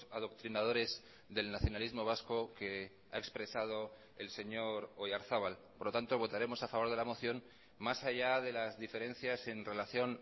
adoctrinadores del nacionalismo vasco que ha expresado el señor oyarzabal por lo tanto votaremos a favor de la moción más allá de las diferencias en relación